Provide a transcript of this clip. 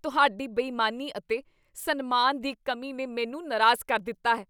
ਤੁਹਾਡੀ ਬੇਈਮਾਨੀ ਅਤੇ ਸਨਮਾਨ ਦੀ ਕਮੀ ਨੇ ਮੈਨੂੰ ਨਾਰਾਜ਼ ਕਰ ਦਿੱਤਾ ਹੈ।